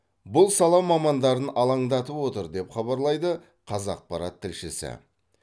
бұл сала мамандарын алаңдатып отыр деп хабарлайды қазақпарат тілшісі